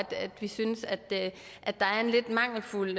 vi synes at at der er en lidt mangelfuld